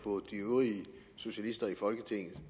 på de øvrige socialister i folketinget